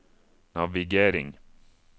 navigering